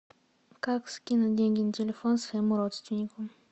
как скинуть деньги на телефон своему родственнику